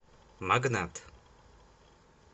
магнат